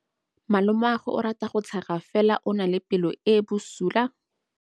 Malomagwe o rata go tshega fela o na le pelo e e bosula.